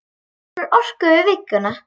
Söfnum orku fyrir vikuna.